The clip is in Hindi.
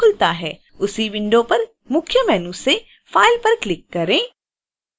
उसी विंडो पर मुख्य मेनू से file पर क्लिक करें